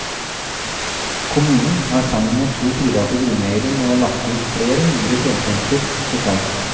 Kommunen har sammen med to private grunneiere nå lagt ut flere hundre fjelltomter for salg.